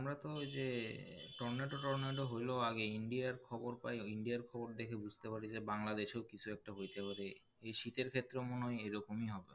আমরা তো যে টর্নেডো টর্নেডো হলো আগে India আর খবর পায় India আর খবর দেখে বুঝতে পারি যে বাংলাদেশও কিছু একটা হইতে পারে এই শীতের ক্ষেত্রেও মনে হয় এ রকমই হবে,